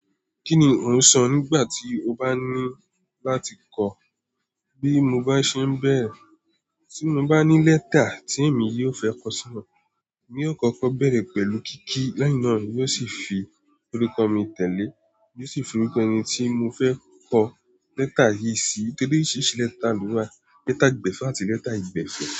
Kíni ó ń san nígbà tí ó bá ní láti kọ́? Bí mo bá ṣe ń bẹ̀rẹ̀, tí mo bá ní lẹ́tà tí èmi yóò fẹ́ kọ sí wọn, èmi yóò kọ́kọ́ bẹ̀rẹ̀ pẹ̀lú kí kí lẹ́yìn na èmi yóò sì fi orúkọ mi tẹ̀lé, n o sì fi orúkọ ẹni tí mo fẹ́ kọ lẹ́tà yìí sí. Oríṣiríṣi lẹ́tà ló wà. Lẹ́tà gbẹ̀fẹ́ àti lẹ́tà aìgbẹ̀fẹ́.